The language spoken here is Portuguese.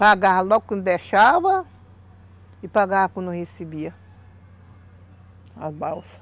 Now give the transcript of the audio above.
Pagava logo quando deixava e pagava quando recebia as balsas.